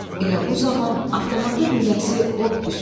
Elə bu zaman avtomatın lüləsi od püskürdü.